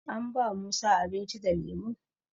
An ba musa abinci da lemo